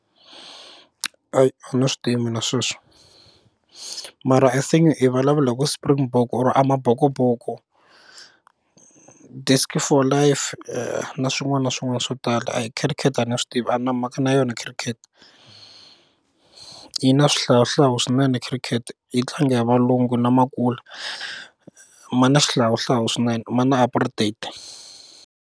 a ni swi tivi mina sweswi mara i think i vulavula ku Springbok or Amabokoboko disci for life na swin'wana na swin'wana swo tala ! khirikete a ni swi tivi a ni na mhaka na yona khirikhete yi na swihlawuhlawu swinene khirikete yi tlanga hi valungu na makula ma na xihlawuhlawu swinene ma na apartheid.